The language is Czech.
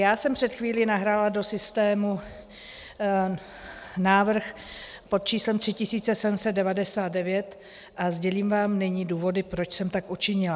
Já jsem před chvílí nahrála do systému návrh pod číslem 3799 a sdělím vám nyní důvody, proč jsem tak učinila.